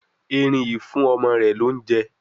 Eerin yi ń fún ọmọ rẹ l'ounjẹ